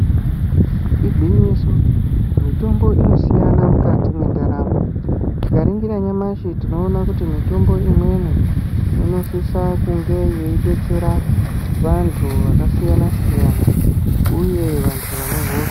Igwinyiso mitombo inosiyana mukati mwendaramo. Tikaningira nyamashi tinoona kuti mitombo imweni inosisa kunge yeidetsera vantu vakasiyana -siyana uye vantu vane hosha.